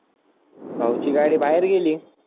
भाऊ ची गाडी बाहेर गेली.